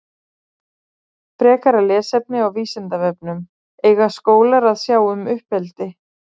Frekara lesefni á Vísindavefnum Eiga skólar að sjá um uppeldi?